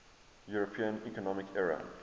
european economic area